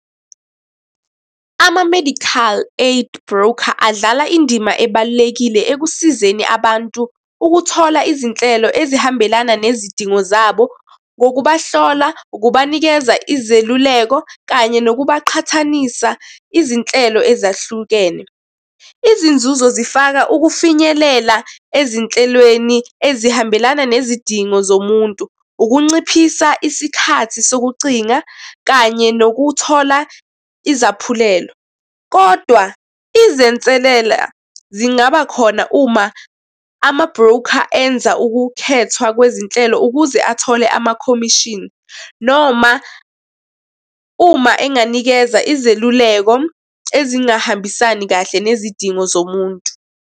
Ama-medical aid broker, adlala indima ebalulekile ekusizeni abantu ukuthola izinhlelo ezihambelana nezidingo zabo ngokubahlola, ukubanikeza izeluleko, kanye nokubaqhathanisa izinhlelo ezahlukene. Izinzuzo zifaka ukufinyelela ezinhlelweni ezihambelana nezidingo zomuntu. Ukunciphisa isikhathi sokucinga, kanye nokuthola izaphulelo, kodwa izinselela zingaba khona uma ama-broker enza ukukhethwa kwezinhlelo ukuze athole ama-commission, noma uma enganikeza izeluleko ezingahambisani kahle nezidingo zomuntu.